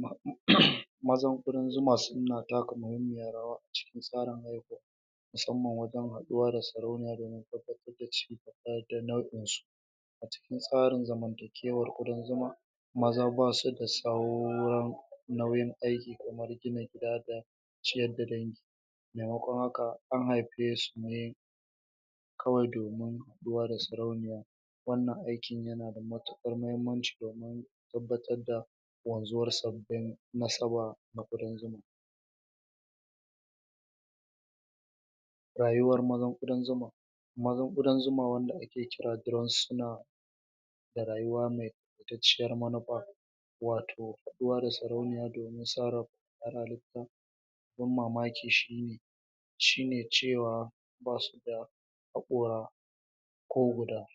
mu haɗu, mazan ƙudan zuma suna taka muhimmiyar rawa a cikin tsarin haihuwa musamman wajen haɗuwa da sarauniya domin tabbatar da ciki da nau'insu a cikin tsarin zamantakewar ƙudan zuma maza basu da sauran nauyin aiki kamar gina gida da ciyar da dangi maimakon haka an haife su ne kawai domin kula da sarauniya wannan aikin yana da matuƙar mahimmanci domin tabbatar da wanzuwar sabbin nasaba na ƙudan zuma rayuwar mazan ƙudan zuma mazan ƙudan zuma wanda ake kira drones suna da rayuwa me fitacciyar manufa wato kula da sarauniya domin sarrafa halitta abin mamaki shi ne shi ne cewa basu da haƙora ko guda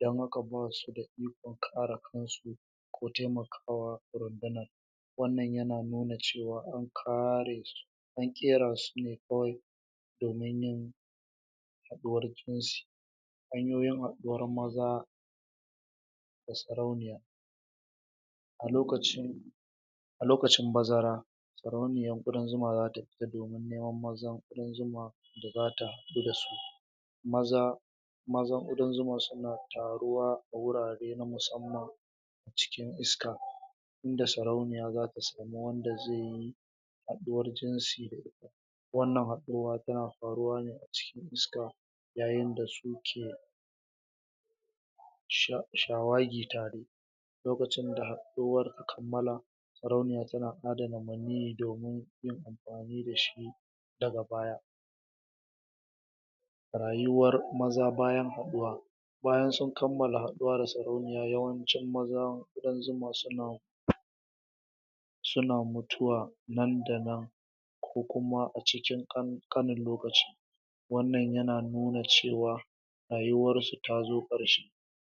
don haka basu da ikon kare kansu ko taimakawa rundunar wannan yana nuna cewa an kare su an ƙera su ne kawai domin yin haɗuwar jinsi hanyoyin haɗuwar maza da sarauniya a lokacin a lokacin bazara sarauniyar ƙudan zuma zata fita domin neman mazan ƙudan zuma da zata haɗu da su maza mazan ƙudan zuma suna taruwa a wurare na musamman cikin iska inda sarauniya zata samu wanda zai yi haɗuwar jinsi da ita wannan haɗuwa tana faruwa ne a cikin iska yayin da su ke sha shawagi tare lokacin da haɗuwar ta kammala sarauniya tana adana maniyyi domin yin amfani da shi daga baya rayuwar maza bayan haɗuwa bayan sun kammala haɗuwa da sarauniya yawancin mazan ƙudan zuma suna suna mutuwa nan da nan ko kuma a cikin ƙanƙanin lokaci wannan yana nuna cewa rayuwarsu ta zo ƙarshe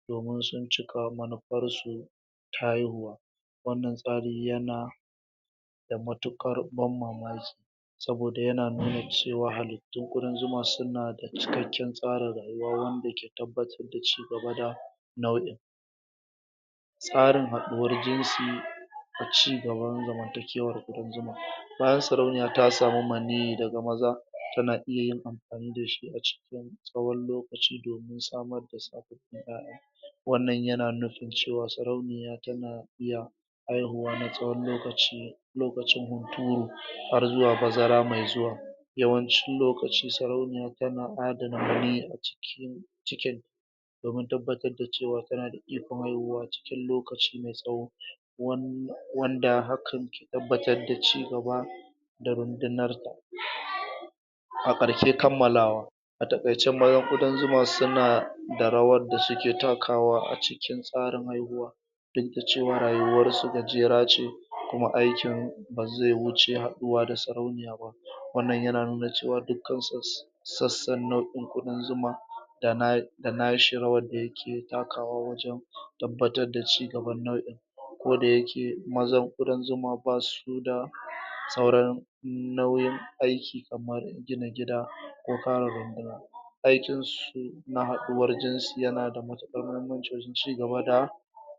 domin sun cika manufarsu ta haihuwa wannan tsari yana da matuƙar ban mamaki saboda yana nuna cewa halittun ƙudan zuma suna da cikakken tsarin rayuwa wanda ke tabbatar da cigaba da nau'in tsarin haduwar jinsi da cigaban zamantakewar ƙudan zuma bayan sarauniya ta samu maniyyi daga maza tana iya yin amfani da shi a cikin tsawon lokaci domin samar da sabbin ƴaƴa wannan yana nufin cewa sarauniya tana iya haihuwa na tsawon lokaci lokacin hunturu har zuwa bazara mai zuwa yawancin lokaci sarauniya tana adana maniyyi a cikin cikinta domin tabbatar da cewa tana da ikon haihuwa cikin lokaci me tsawo wanda wanda hakan ke tabbatar da cigaba da rundunarta a ƙarshe kammalawa a taƙaice bayan ƙudan zuma suna da rawar da suke takawa a cikin tsarin haihuwa duk da cewa rayuwarsu gajera ce kuma aikin ba zai wuce haɗuwa da sarauniya ba wannan yana nuna cewa dukkan sass sassan nau'in ƙudan zuma da na da nashi rawar da yake takawa wajen tabbatar da cigaban nau'in koda yake mazan ƙudan zuma basu da sauran nauyin aiki kamar gina gida ko kare runduna aikin su na haɗuwar jinsi yana da matuƙar muhimmanci wajen cigaba da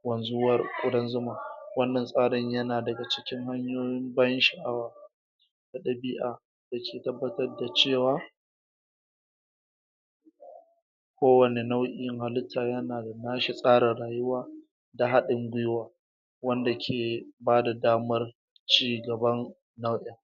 wanzuwar ƙudan zuma wannan tsarin yana daga cikin hanyoyin ban sha'awa da ɗabi'a da ke tabbatar da cewa kowane nau'in halitta yana da nashi tsarin rayuwa da haɗin gwaiwa wanda ke bada damar cigaban nau'in